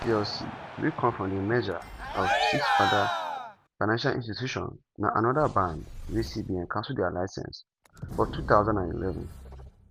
spring bank plc wey come from di merger of six oda financial institutions na anoda band wey cbn cancel dia licence for 2011.